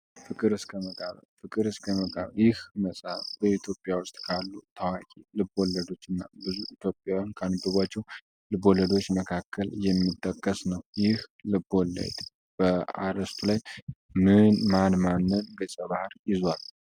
ፍቅር እስከ መቃብር ፍቅር እስከ መቃብር ይህ መጽሐፍ በኢትዮጵያ ውስጥ ካሉ ታዋቂ ልብ ወለዶችና ኢትዮጵያውያን ካነበቧቸው ልብ ወለዶች መካከል የሚጠቀስ ነው የልብ ወለድ በአስቱ ላይ ምን ማን ማንን ግፀ ባህርያት ይዟል?